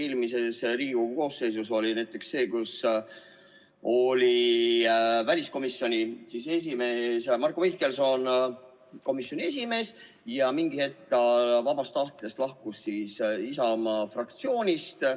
Eelmises Riigikogu koosseisus oli näiteks nii, et väliskomisjoni esimees oli Marko Mihkelson, kes ühel hetkel vabast tahtest lahkus Isamaa fraktsioonist.